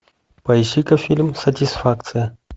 поищи ка фильм сатисфакция